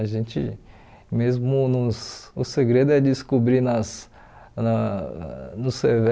A gente mesmo nos o segredo é descobrir nas na nos